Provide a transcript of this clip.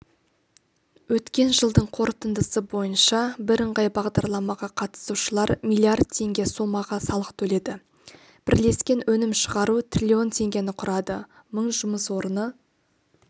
өткен жылдың қорытындысы бойынша бірыңғай бағдарламаға қатысушылар миллиард теңге сомаға салық төледі бірлескен өнім шығару трлн теңгені құрады мың жұмыс орны